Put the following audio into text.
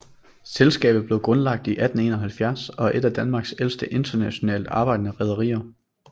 Selskabet blev grundlagt i 1871 og er et af Danmarks ældste internationalt arbejdende rederier